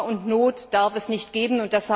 Hunger und Not darf es nicht geben!